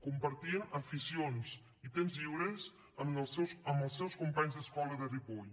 compartien aficions i temps lliure amb els seus companys d’escola de ripoll